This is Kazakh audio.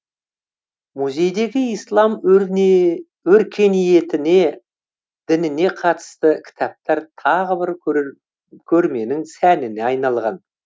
музейдегі ислам өркениетіне дініне қатысты кітаптар тағы бір көрменің сәніне айналған